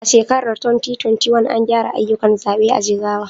A shekarar 2021, an gyara ayyukan zaɓe a Jigawa.